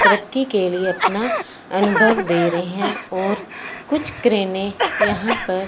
तरक्की के लिए अपना अनुभव दे रहे है और कुछ क्रेने यहां पर --